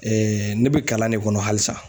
ne bɛ kalan ne kɔnɔ halisa.